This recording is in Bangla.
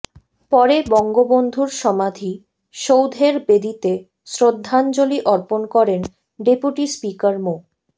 পরে বঙ্গবন্ধুর সমাধী সৌধের বেদীতে শ্রদ্ধাঞ্জলি অর্পণ করেন ডেপুটি স্পিকার মো